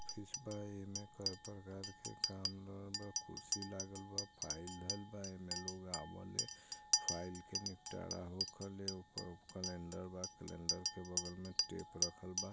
कोई परकार के काम लो बा कुर्ती लागल बा फाइल हो बा इनमें लोग आबेल हैं फाइल का निपटारा होकले हो वह कैलेंडर बा कैलेंडर के बगल में टैप रखेल बा।